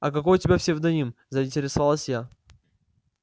а какой у тебя псевдоним заинтересовалась я